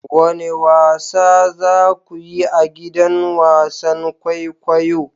Wane wasa za ku yi a gidan wasan kwaikwayo?